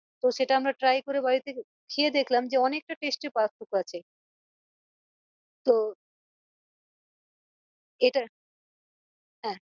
তো সেটা আমরা try করে বাড়ীতে খেয়ে দেখলাম যে অনেকটা taste এর পার্থক্য আছে তো এটা হ্যাঁ